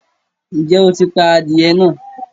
Ǹjẹ́ o ti pa adìyẹ náà?